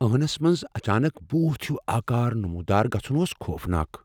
ٲنس منز اچانك بھوٗت ہِیوٗ آكار نموُدار گژھٗن اوس خوفناک ۔